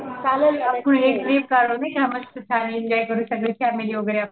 नाही का मस्त फॅमिली एन्जॉय करू सगळे फॅमिली वगैरे.